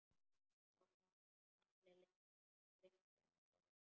Sá gamli gleymdi að borga.